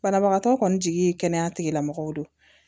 Banabagatɔ kɔni jigi ye kɛnɛya tigilamɔgɔw don